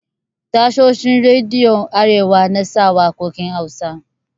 Tashoshin rediyon arewa na sa waƙokin Hausa.